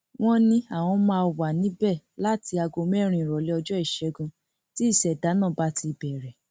wọn ní àwọn máa wà níbẹ láti aago mẹrin ìrọlẹ ọjọ ìṣègùn tí ìṣẹdá náà bá ti bẹrẹ